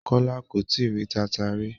Kola ko tìí rì tànta rí